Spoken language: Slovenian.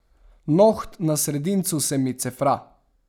Noht na sredincu se mi cefra.